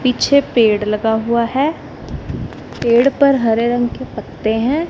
पीछे पेड़ लगा हुवा हैं पेड़ पर हरे रंग के पत्ते हैं।